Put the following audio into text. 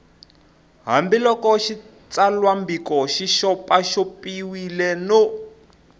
hambiloko xitsalwambiko xi xopaxopiwile no